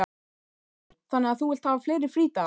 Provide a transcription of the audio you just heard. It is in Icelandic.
Sigríður: Þannig að þú vilt hafa fleiri frídaga?